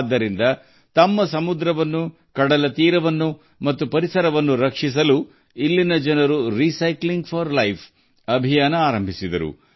ಇದರಿಂದ ಅದರ ಸಮುದ್ರ ಮತ್ತು ಕಡಲ ದಂಡೆಗಳು ಮತ್ತು ಪರಿಸರವನ್ನು ಉಳಿಸಲು ಇಲ್ಲಿನ ಜನರು ಜೀವನಕ್ಕಾಗಿ ಮರುಬಳಕೆ ಅಭಿಯಾನವನ್ನು ಪ್ರಾರಂಭಿಸಿದ್ದಾರೆ